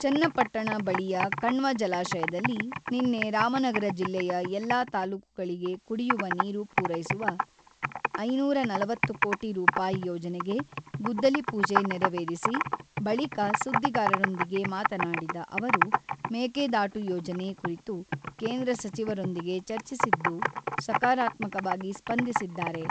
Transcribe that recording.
ಚನ್ನಪಟ್ಟಣ ಬಳಿಯ ಕಣ್ವ ಜಲಾಶಯದಲ್ಲಿ ನಿನ್ನೆ ರಾಮನಗರ ಜಿಲ್ಲೆಯ ಎಲ್ಲ ತಾಲೂಕುಗಳಿಗೆ ಕುಡಿಯುವ ನೀರು ಪೂರೈಸುವ ಐನೂರ ನಲವತ್ತು ಕೋಟಿ ರೂಪಾಯಿ ಯೋಜನೆಗೆ ಗುದ್ದಲಿ ಪೂಜೆ ನೆರವೇರಿಸಿ ಬಳಿಕ ಸುದ್ದಿಗಾರರೊಂದಿಗೆ ಮಾತನಾಡಿದ ಅವರು, ಮೇಕೆದಾಟು ಯೋಜನೆ ಕುರಿತು ಕೇಂದ್ರ ಸಚಿವರೊಂದಿಗೆ ಚರ್ಚಿಸಿದ್ದು, ಸಕಾರಾತ್ಮಕವಾಗಿ ಸ್ಪಂದಿಸಿದ್ದಾರೆ.